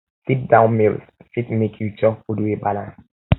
sit down meals fit make you chop food wey balance